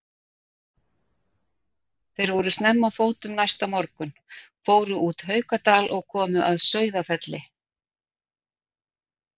Þeir voru snemma á fótum næsta morgun, fóru út Haukadal og komu að Sauðafelli.